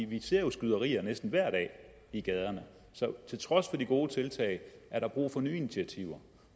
vi ser jo skyderier næsten hver dag i gaderne så til trods for de gode tiltag er der brug for nye initiativer